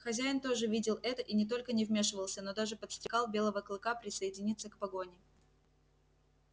хозяин тоже видел это и не только не вмешивался но даже подстрекал белого клыка присоединиться к погоне